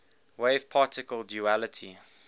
wave particle duality